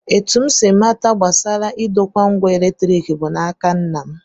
Etu m si mata gbasara idokwa ngwa eletrik bụ n'aka nna m